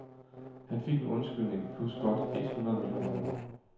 Han fik en undskyldning plus godt et hundrede millioner kroner.